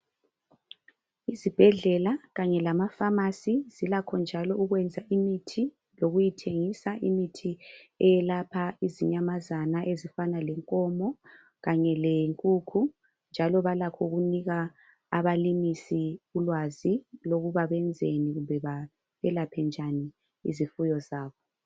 Izibhedlela kanye lamafamasi zilakho njalo ukwenza imithi lokuyithengisa imithi eyezinyamazana elapha izinyamazana ezifana lenkomo kanye lenkukhu njalo balakho ukunika abalimisi ulwazi olokuba benzeni belaphe njani izifuyo zabo.